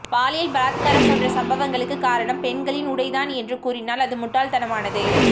பாலியல் பலாத்காரம் போன்ற சம்பவங்களுக்கு காரணம் பெண்களின் உடைதான் என்று கூறினால் அது முட்டாள் தனமானது